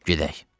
Gedək.